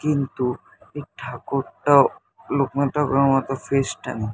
কিন্তু এই ঠাকুরটাও লোকনাথ ঠাকুরের মতো ফেস -টা নেই।